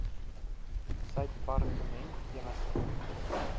sy departement enige